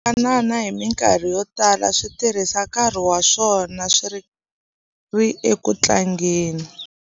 Swivanana hi mikarhi yo tala swi tirhisa nkarhi wa swona swi ri eku tlangeni.